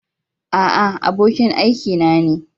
A'a, abokin aikina ne.